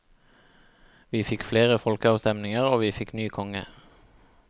Vi fikk flere folkeavstemninger og vi fikk ny konge.